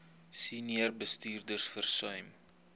senior bestuurders versuim